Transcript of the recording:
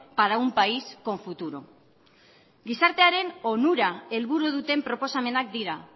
para un país con futuro gizartearen onura helburu duten proposamenak dira